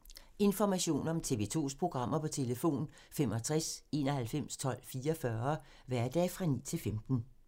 Information om TV 2's programmer: 65 91 12 44, hverdage 9-15.